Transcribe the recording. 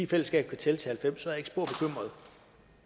kan tælle til halvfems